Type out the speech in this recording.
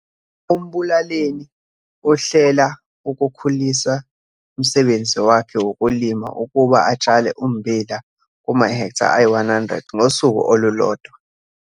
UMbulaleni uhlela ukukhulisa umsebenzi wakhe wokulima ukuba atshale ummbila kumahektha ayi-100 ngosuku olulodwa.